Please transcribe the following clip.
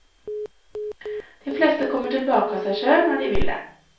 De fleste kommer tilbake av seg sjøl når de vil det.